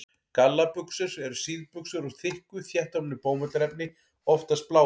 Gallabuxur eru síðbuxur úr þykku, þéttofnu bómullarefni, oftast bláu.